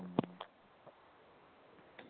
മ്മ്